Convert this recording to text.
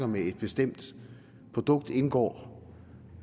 med at et bestemt produkt indgår